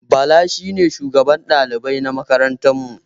Bala shine shugaban dalibai na makarantar mu